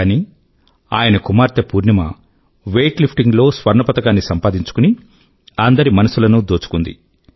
కానీ ఆయన కుమార్తె పూర్ణశ్రీ వెయిట్ లిఫ్టింగ్ లో స్వర్ణ పతకాన్ని సంపాదించుకుని అందరి మనసులను దోచుకుంది